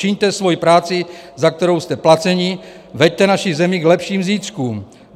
Čiňte svoji práci, za kterou jste placeni, veďte naši zemi k lepším zítřkům.